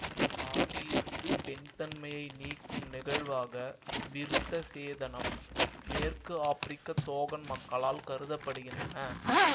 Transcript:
ஆணில் இருந்து பெண் தன்மையை நீக்கும் நிகழ்வாக விருத்த சேதனம் மேற்கு ஆப்பிரிக்க தோகன் மக்களால் கருத படுகின்றன